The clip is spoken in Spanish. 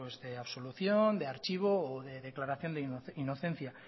de absolución de archivo o de declaración de inocencia